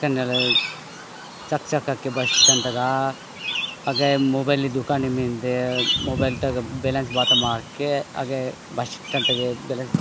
कनेल चक - चक के बस स्टैंड तक आव अगे मोबाइल दुकान मिन्दे मोबाइल तक बैलेंस बात मारके अगे बस स्टैंड तक बैलेंस --